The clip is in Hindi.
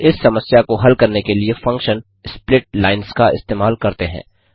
हम इस समस्या को हल करने के लिए फंक्शन स्प्लिट लाइन्स का इस्तेमाल करते हैं